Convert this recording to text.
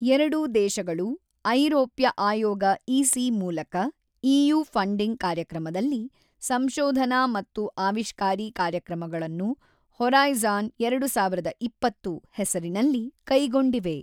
ಎರಡೂ ದೇಶಗಳು ಐರೋಪ್ಯ ಆಯೋಗ ಇಸಿ ಮೂಲಕ ಇಯು ಫಂಡಿಂಗ್ ಕಾರ್ಯಕ್ರಮದಲ್ಲಿ ಸಂಶೋಧನಾ ಮತ್ತು ಆವಿಷ್ಕಾರಿ ಕಾರ್ಯಕ್ರಮಗಳನ್ನು ಹೊರೈಜಾನ್ ಎರಡು ಸಾವಿರದ ಇಪ್ಪತ್ತು ಹೆಸರಿನಲ್ಲಿ ಕೈಗೊಂಡಿವೆ.